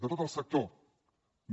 de tot el sector no